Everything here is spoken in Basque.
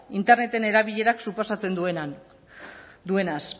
interneten erabilerak suposatzen duenaz